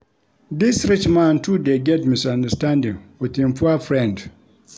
Dis rich man too dey get misunderstanding wit im poor friend.